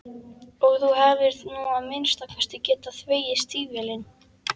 Og þú hefðir nú að minnsta kosti getað þvegið stígvélin.